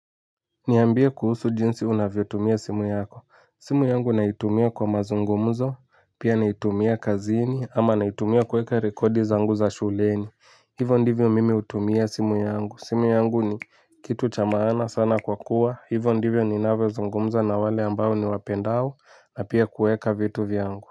Niambie kuhusu jinsi unavyotumia simu yako, simu yangu naitumia kwa mazungumzo, pia naitumia kazini ama naitumia kueka rekodi zangu za shuleni. Hivo ndivyo mimi hutumia simu yangu, simu yangu ni kitu cha maana sana kwa kuwa, hivo ndivyo ninavyozungumza na wale ambao niwapendao na pia kuweka vitu vyangu.